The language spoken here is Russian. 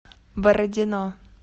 бородино